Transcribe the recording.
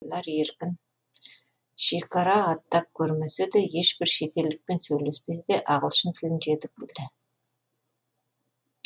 шекара аттап көрмесе де ешбір шетелдікпен сөйлеспесе де ағылшын тілін жетік білді